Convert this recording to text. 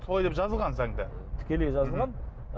солай деп жазылған заңда тікелей жазылған